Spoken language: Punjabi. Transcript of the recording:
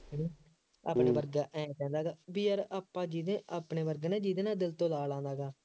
ਹੂੰ ਆਪਣੇ ਵਰਗਾ, ਆਂਏਂ ਨਹੀਂ ਕਹਿੰਦਾ ਹੈਗਾ ਬਈ ਯਾਰ ਆਪਾਂ ਜਿਹਦੇ ਆਪਣਾ ਵਰਗਾ ਨਾ ਜਿਹਦੇ ਨਾਲ ਦਿਲ ਤੋਂ